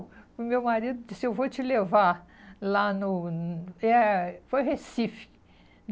O meu marido disse, eu vou te levar lá no... eh foi Recife.